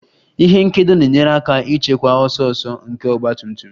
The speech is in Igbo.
Ihe nkedo na-enyere aka ịchịkwa ọsọ ọsọ nke ọgba tum tum